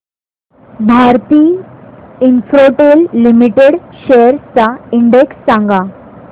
Bharti Infratel limited shares चा index सांगा